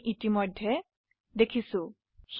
আমি ইতিমধ্যে চিপি নিয়ে আলোচনা কৰিছো